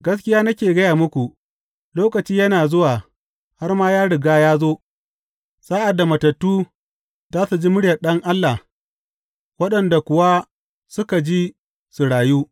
Gaskiya nake gaya muku, lokaci yana zuwa har ma ya riga ya zo sa’ad da matattu za su ji muryar Ɗan Allah waɗanda kuwa suka ji za su rayu.